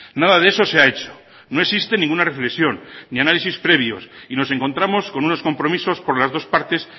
nada de eso se ha hecho no existe ninguna reflexión ni análisis previos y nos encontramos con unos compromisos por las dos partes